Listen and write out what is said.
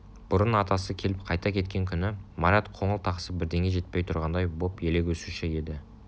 бұрын атасы келіп қайта кеткен күні марат қоңыл-тақсып бірдеңе жетпей тұрғандай боп елегізуші еді